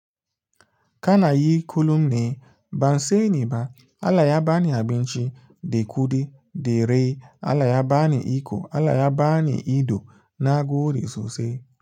Kana yi kullum ne, ban sani ba. Allah ya bani abinci, da kuɗi, da rai, Allah ya bani iko, Allah ya bani ido na nagode sosai.